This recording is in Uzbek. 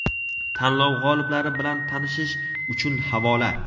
Tanlov g‘oliblari bilan tanishish uchun havola.